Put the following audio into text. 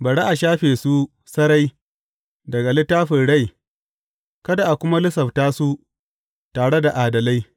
Bari a shafe su sarai daga littafin rai kada a kuma lissafta su tare da adalai.